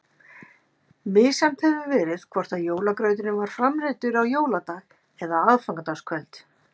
Misjafnt hefur verið hvort jólagrauturinn var framreiddur á jóladag eða aðfangadagskvöld.